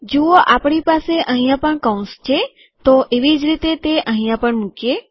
જુઓ આપણી પાસે અહીંયા પણ કૌંસ છે તો એવી જ રીતે તે અહીંયા પણ મુકીએ